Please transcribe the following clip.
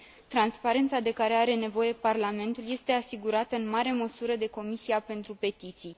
Transparența de care are nevoie Parlamentul este asigurată în mare măsură de Comisia pentru petiții.